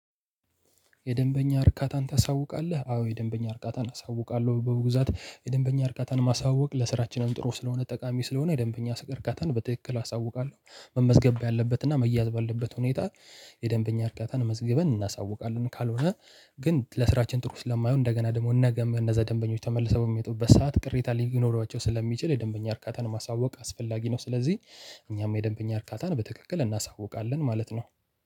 የደንበኛ እርካታን ታሳውቃለህ አዎ የደንበኛ እርካታን አሳውቃለሁ በውግዛት የደንበኛ እርካታን ማሳወቅ ለስራችንም ጥሩ ስለሆነ ጠቃሚ ስለሆነ የደንበኛ እርካታን በትክክል አሳውቃለሁ መመዝገብ ያለበትና መያዝ ባለበት ሁኔታ። የደንበኛ እርካታን መዝግበን እናሳውቃለን ካልሆነ ግን ለስራችን ጥሩ ስለማይሆን እንደገና ደግሞ ነገም እነዛ ደንበኞች ተመልሰው የሚመጡበት ሰዓት ቅሬታ ሊኖሯቸው ስለሚችል የደንበኛ እርካታን ማሳወቅ አስፈላጊ ነው። ስለዚህ እኛም የደንበኛ እርካታን በትክክል እናሳውቃለን ማለት ነው።